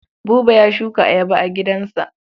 Buba ya shuka ayaba a gidansa.